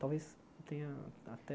Talvez tenha até